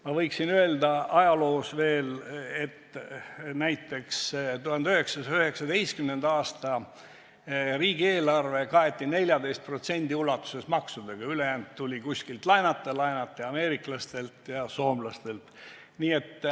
Ma võiksin öelda ajaloost veel, et näiteks 1919. aasta riigieelarve kaeti 14% ulatuses maksudega, ülejäänu tuli kuskilt laenata, laenati ameeriklastelt ja soomlastelt.